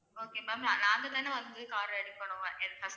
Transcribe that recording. okay ma'am நாங்க தானே வந்து car அ எடுக்கணும்